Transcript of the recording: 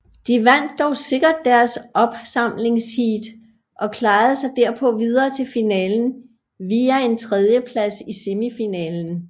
De vandt dog sikkert deres opsamlingsheat og klarede sig derpå videre til finalen via en tredjeplads i semifinalen